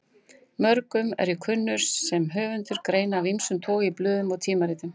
Mörgum er ég kunnur sem höfundur greina af ýmsum toga í blöðum og tímaritum.